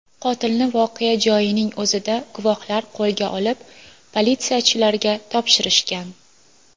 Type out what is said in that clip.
Qotilni voqea joyining o‘zida guvohlar qo‘lga olib, politsiyachilarga topshirishgan.